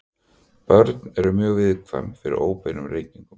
Börn eru mjög viðkvæm fyrir óbeinum reykingum.